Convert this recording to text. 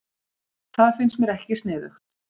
Það finnst mér ekki sniðugt